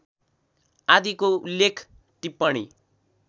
आदिको उल्लेख टिप्पणी